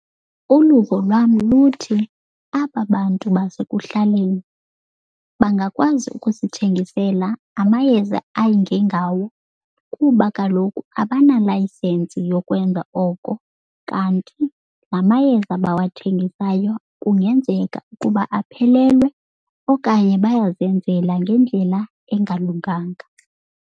Uluvo lwam luthi aba bantu basekuhlaleni bangakwazi ukusithengisela amayeza ayingengawo kuba kaloku abana-licence yokwenza oko. Kanti la mayeza bawathengisayo kungenzeka ukuba aphelelwe okanye bayazenzela ngendlela engalunganga.